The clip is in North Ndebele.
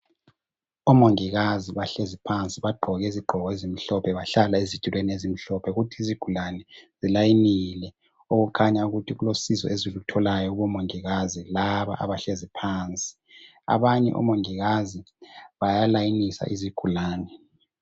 Omongikazi bahlezi phansi bagqoke izigqoko ezimhlophe bahlala ezitulweni ezimhlophe kuthi izigulani zilayinile okukhanya ukuthi kulosizo ezilutholayo kubomongikazi laba abahlezi phansi abanye omongikazi bayalanisa izigulani.